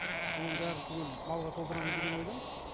соның бәрін түгел малға толтырамыз деген ойдамыз